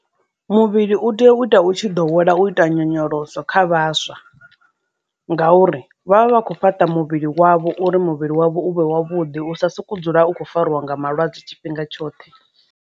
Muvhili u tea u ita u tshi ḓo wela u ita nyonyoloso kha vhaswa, ngauri vha vha vha kho fhaṱa muvhili wavho uri muvhili wavho u vhe wavhuḓi u sokou dzula u kho fariwa nga malwadze tshifhinga tshoṱhe.